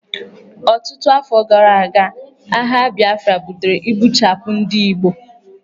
Ọtụtụ afọ gara aga, agha Biafra butere igbuchapụ ndị Igbo.